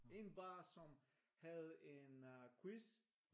En bar som havde en øh quiz